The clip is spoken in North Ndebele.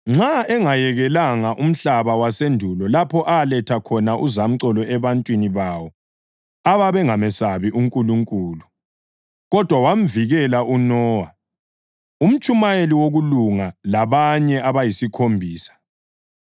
Nxa engayekelanga umhlaba wasendulo lapho aletha khona uzamcolo ebantwini bawo ababengamesabi uNkulunkulu, kodwa wamvikela uNowa, umtshumayeli wokulunga, labanye abayisikhombisa.